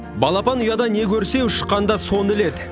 балапан ұяда не көрсе ұшқанда соны іледі